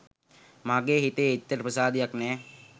මගේ හිතේ එච්චර ප්‍රසාදයක් නෑ.